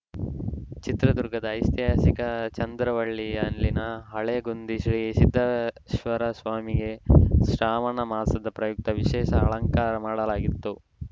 ಚಿತ್ರದುರ್ಗದ ಐತಿಹಾಸಿಕ ಚಂದ್ರವಳ್ಳಿಯಲ್ಲಿನ ಹುಲೆಗುಂದಿ ಶ್ರೀ ಸಿದ್ದೇಶ್ವರಸ್ವಾಮಿಗೆ ಶ್ರಾವಣ ಮಾಸದ ಪ್ರಯುಕ್ತ ವಿಶೇಷ ಅಲಂಕಾರ ಮಾಡಲಾಗಿತ್ತು